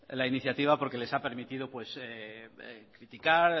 la iniciativa porque les ha permitido criticar